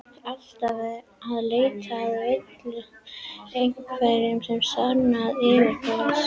Alltaf að leita að veilu, einhverju sem sannaði yfirburði hans.